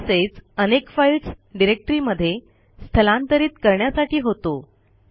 तसेच अनेक फाईल्स डिरेक्टरीमध्ये स्थलांतरित करण्यासाठी होतो